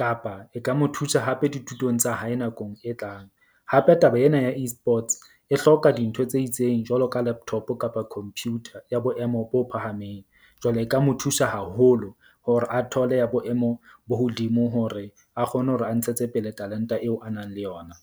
kapa e ka mo thusa hape dithutong tsa hae nakong e tlang. Hape taba ena ya Esports e hloka dintho tse itseng jwalo ka laptop kapa computer ya boemo bo phahameng. Jwale e ka mo thusa haholo hore a thole ya boemo bo hodimo hore a kgone hore a ntshetse pele talent-a eo a nang le yona.